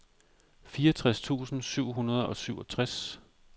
fireogtres tusind syv hundrede og syvogtres